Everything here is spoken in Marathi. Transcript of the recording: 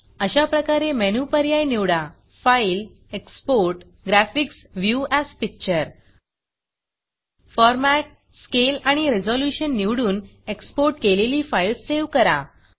अशाप्रकारे मेनू पर्याय निवडा फाइल gtफाइलExport gtएक्सपोर्ट ग्राफिक्स व्ह्यू एएस Pictureग्रॅफिक्स व्यू अस पिक्चर Formatफॉर्मॅट Scaleस्केल आणि Resolutionरेज़ल्यूशन निवडून एक्सपोर्ट केलेली फाईल सेव्ह करा